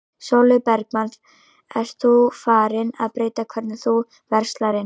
Sólveig Bergmann: Ert þú farin að breyta hvernig þú verslar inn?